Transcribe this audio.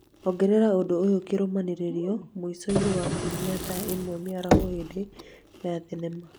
ongerera ũndũ ũyũ kĩrũmanĩrĩrio mũico-inĩ wa kiumia thaa ĩmwe mĩaraho hĩndĩ ya thenema